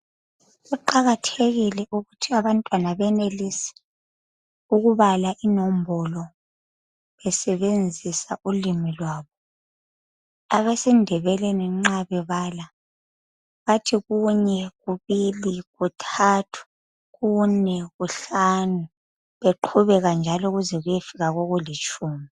kuqakathekile ukuthi abantzwana benelise ukubala inombolo besebenzisa ulimi lwabo abesindebeleni nxa bebala bathi kunye kubuli kuthathu kune kuhlanu bequbeka njalo beze beyefika kokulitshumi